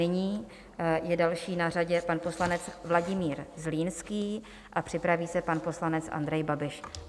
Nyní je další na řadě pan poslanec Vladimír Zlínský a připraví se pan poslanec Andrej Babiš.